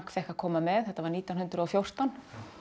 fékk að koma með þetta var nítján hundruð og fjórtán